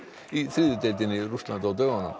í þriðju deildinni í Rússlandi á dögunum